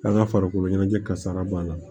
An ka farikoloɲɛnajɛ kasara b'a la